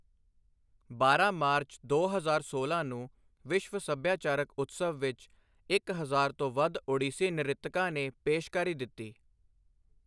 ਬਾਰਾਂ ਮਾਰਚ, ਦੋ ਹਜ਼ਾਰ ਸੋਲਾਂ ਨੂੰ ਵਿਸ਼ਵ ਸੱਭਿਆਚਾਰਕ ਉਤਸਵ ਵਿੱਚ ਇੱਕ ਹਜ਼ਾਰ ਤੋਂ ਵੱਧ ਓਡੀਸੀ ਨ੍ਰਿਤਕਾਂ ਨੇ ਪੇਸ਼ਕਾਰੀ ਦਿੱਤੀ।